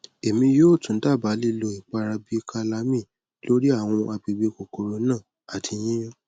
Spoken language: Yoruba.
emi yoo tun daba lilo ipara bi calamine lori awọn agbegbe kokoro na ati yiyun